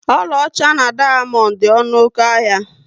Ọlaọcha na dayamondu dị ọnụ oké ahịa